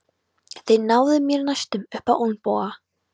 Þeir náðu mér næstum upp á olnboga.